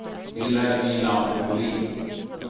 Vilhelmina Molin